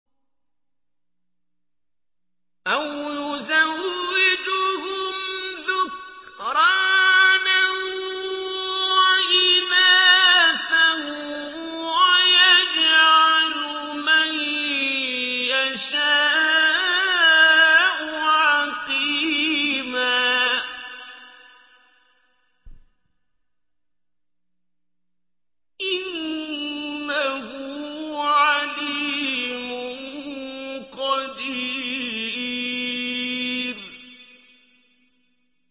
أَوْ يُزَوِّجُهُمْ ذُكْرَانًا وَإِنَاثًا ۖ وَيَجْعَلُ مَن يَشَاءُ عَقِيمًا ۚ إِنَّهُ عَلِيمٌ قَدِيرٌ